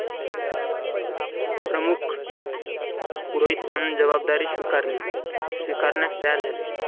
प्रमुख पुरोहित म्हणून जबाबदारी स्वीकारली स्वीकारण्यास तयार झाले.